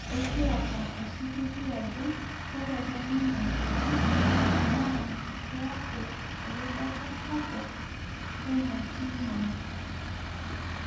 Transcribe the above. Ekiata osiligi ajo kerenren ninye kewon naa kaiku erubata sapuk teina tim ang'